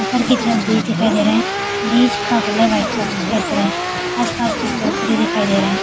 ऊपर की तरफ ब्रिज दिखाई दे रहा है ब्रिज का कलर वाइट कलर का दिखाई दे रहा है आस-पास कुछ पेड़ पौधे दिखाई दे रहे हैं।